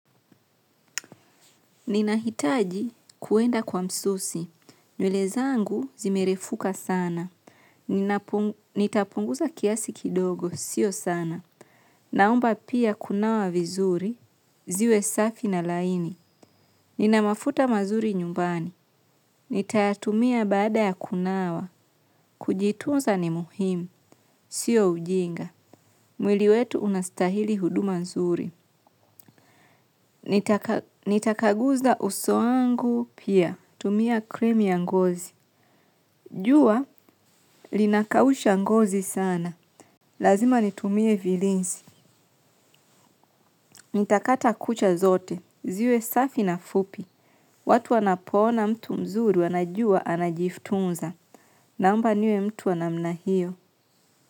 Ninahitaji kuenda kwa msusi. Nywele zangu zimerefuka sana. Nitapunguza kiasi kidogo. Sio sana. Naomba pia kunawa vizuri. Ziwe safi na laini. Ninamafuta mazuri nyumbani. Nitayatumia bada ya kunawa. Kujitunza ni muhimu. Sio ujinga. Mwili wetu unastahili huduma nzuri. Nitakaguza uso wangu pia tumia krimu ya ngozi. Jua, linakausha ngozi sana. Lazima nitumie vilinsi. Nitakata kucha zote, ziwe safi na fupi. Watu wanapoona mtu mzuru wanajua anajiftunza. Naomba niwe mtu wanamna hiyo.